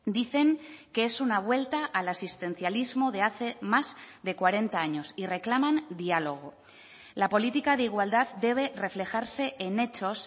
dicen que es una vuelta al asistencialismo de hace más de cuarenta años y reclaman diálogo la política de igualdad debe reflejarse en hechos